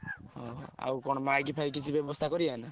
ଓହୋ! ଆଉ କଣ mic ଫାଇକି କିଛି ବ୍ୟବସ୍ଥା କରିଆ ନା?